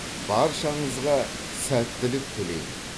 баршаңызға сәттілік тілеймін